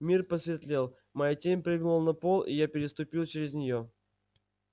мир посветлел моя тень прыгнула на пол и я переступил через неё